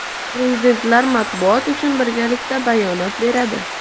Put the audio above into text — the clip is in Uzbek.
Prezidentlar matbuot uchun birgalikda bayonot beradi.